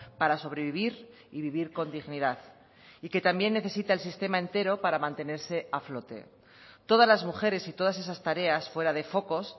para sobrevivir y vivir con dignidad y que también necesita el sistema entero para mantenerse a flote todas las mujeres y todas esas tareas fuera de focos